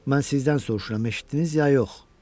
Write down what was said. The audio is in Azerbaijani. Mən sizdən soruşuram, eşitdiniz ya yox?